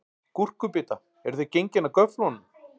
Gúrkubita, eruð þið gengin af göflunum?